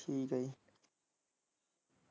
ਠੀਕ ਆ ਜੀ।